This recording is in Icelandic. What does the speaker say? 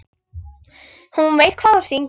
Hún veit hvað hún syngur.